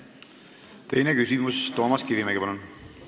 Teine küsimus, Toomas Kivimägi, palun!